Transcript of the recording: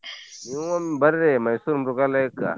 ನೀವೂ ಒಮ್ ಬರ್ರಿ ಮೈಸೂರ್ ಮೃಗಾಲಯಕ್ಕ.